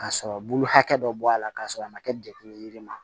K'a sɔrɔ bulu hakɛ dɔ bɔ a la k'a sɔrɔ a ma kɛ degkun ye yiri ma